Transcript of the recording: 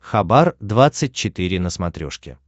хабар двадцать четыре на смотрешке